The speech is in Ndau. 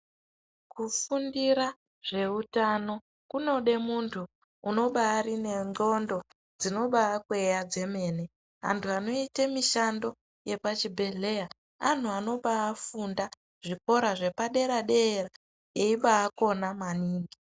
Kufundira zveutano, kunode muntu unobaari nendxondo dzinobaakweya dzemene. Antu anoite mishando yepachibhedhleya ,anhu anobaafunda zvikora zvepadera-dera, eibaakona maningi,